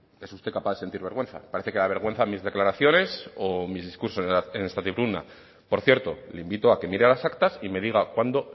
es usted capaz de sentir vergüenza parece que le dan vergüenza mis declaraciones o mis discursos en esta tribuna por cierto le invito a que mire las actas y me diga cuándo